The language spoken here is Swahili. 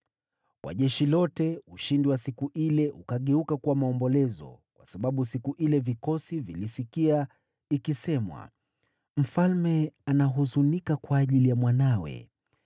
Kwa jeshi lote, ushindi wa siku ile ukageuka kuwa maombolezo, kwa sababu siku ile vikosi vilisikia ikisemwa, “Mfalme anahuzunika kwa ajili ya mwanawe.”